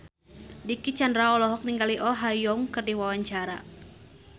Dicky Chandra olohok ningali Oh Ha Young keur diwawancara